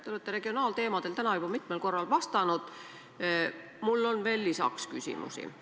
Te olete küll regionaalteemadel täna juba mitmel korral vastanud, aga mul on veel lisaks küsimusi.